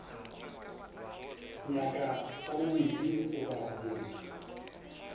nyaka sa bobedi goba motho